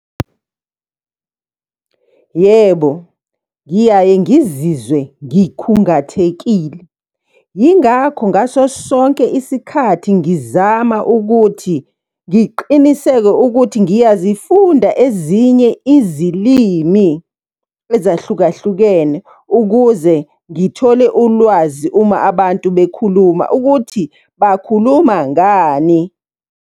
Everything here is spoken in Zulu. Yebo, ngiyaye ngizizwe ngikhungathekile. Yingakho ngaso sonke isikhathi ngizama ukuthi ngiqiniseke ukuthi niyazifunda ezinye izilimi ezahlukahlukene, ukuze ngithole ulwazi uma abantu bekhuluma ukuthi bakhuluma ngani,